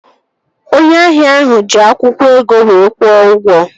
Onye ahịa ahụ ji akwụkwọ ego wee kwụọ ụgwọ